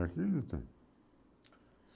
Aqui não tem.